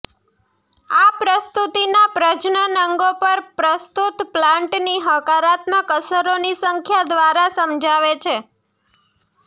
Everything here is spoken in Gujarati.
આ પ્રસ્તુતિના પ્રજનન અંગો પર પ્રસ્તુત પ્લાન્ટની હકારાત્મક અસરોની સંખ્યા દ્વારા સમજાવે છે